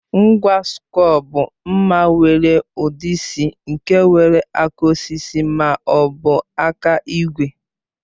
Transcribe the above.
Ngwa sịkul bụ mma nwere ụdị C nke nwere aka osisi ma ọ bụ aka igwe